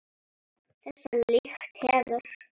Þessa lykt hefur